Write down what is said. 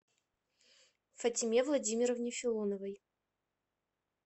фатиме владимировне филоновой